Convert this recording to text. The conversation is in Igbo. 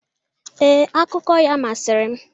Ee, akụkọ ya masịrị m.